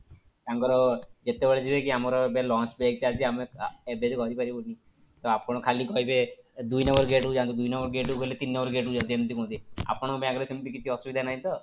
ତାଙ୍କର କେତେବେଳେ ହୁଏ କି ଆମର ଏବେ lunch break ଚାଲିଛି ଆମେ ଏବେ ରହିପାରିବୁନି, ତ ଆପଣ ଖାଲି କହିବେ ଦୁଇ number gate କୁ ଯାଆନ୍ତୁ ଦୁଇ number gate କୁ ଗଲେ ତିନି number gate କୁ ଯାଆନ୍ତୁ ଏମିତି କୁହନ୍ତି ଆପଣଙ୍କ bank ରେ ସେମିତି କିଛି ଅସୁବିଧା ନାହିଁ ତ?